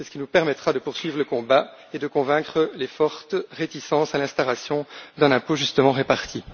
C'est ce qui nous permettra de poursuivre le combat et de convaincre les fortes réticences à l'instauration d'un impôt justement réparti.